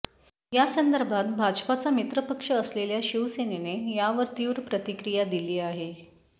यासंदर्भात भाजपाचा मित्रपक्ष असलेल्या शिवसेनेने यावर तीव्र प्रतिक्रिया दिली आहे